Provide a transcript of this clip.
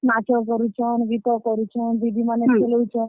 ନାଚ କରୁଛନ୍, ଗୀତ କରୁଛନ୍, ଦିଦିମାନେ ଖେଲଉଛନ୍।